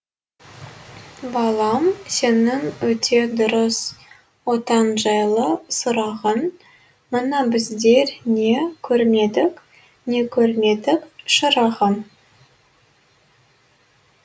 балам сенің өте дұрыс отан жайлы сұрағың мына біздер не көрмедік не көрмедік шырағым